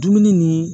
Dumuni ni